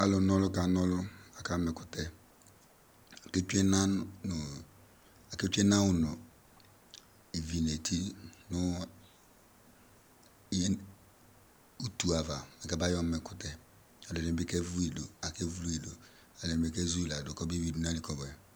Alʋna ɔlʋ kana ɔlʋ, akama ɛkʋtɛ, aketsue ɛnawʋ nʋ ivi nʋ eti nʋ utu ava bɩ kabayɔ ma ɛkʋtɛ, ɛdɩnɩ bɩ kevu yɩ dʋ, ɛdɩnɩ bɩ kezu yɩ ladʋ kɔbeyuidʋ nʋ ayili kɔbʋɛ